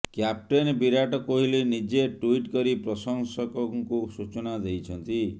captain Virat Kohli ନିଜେ tweet କରି ପ୍ରଶଂସକଙ୍କୁ ସୂଚନା ଦେଇଛନ୍ତି